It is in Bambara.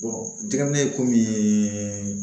jateminɛ ye komi